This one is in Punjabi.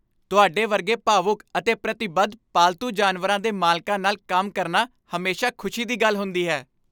ਤੁਹਾਡੇ ਵਰਗੇ ਭਾਵੁਕ ਅਤੇ ਪ੍ਰਤੀਬੱਧ ਪਾਲਤੂ ਜਾਨਵਰਾਂ ਦੇ ਮਾਲਕਾਂ ਨਾਲ ਕੰਮ ਕਰਨਾ ਹਮੇਸ਼ਾ ਖੁਸ਼ੀ ਦੀ ਗੱਲ ਹੁੰਦੀ ਹੈ।